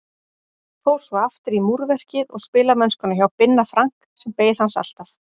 Eruð þið til að hafa allar ferið svona? svarið var játandi.